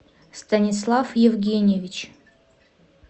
станислав евгеньевич